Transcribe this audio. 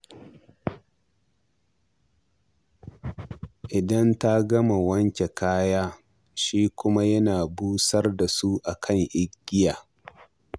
Idan ta gama wanke kaya, shi kuma yana busar da su a kan igiya.